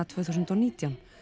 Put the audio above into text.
tvö þúsund og nítján